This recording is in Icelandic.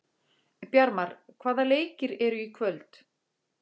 Bjarmar, hvaða leikir eru í kvöld?